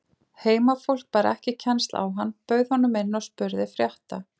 Heimafólk bar ekki kennsl á hann, bauð honum inn og spurði frétta.